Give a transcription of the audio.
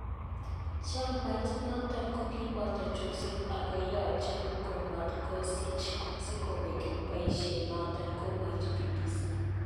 Chamait noton kokiboto chorset ako yoche komotkosich sikobek boishet noton, komwochi BBC.